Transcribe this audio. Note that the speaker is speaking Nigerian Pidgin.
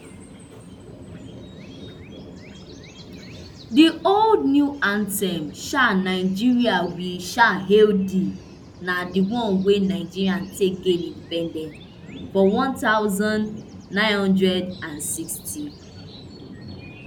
di old new anthem um nigeria we um hail thee na di one wey nigeria take gain independence for one thousand, nine hundred and sixty